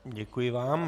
Děkuji vám.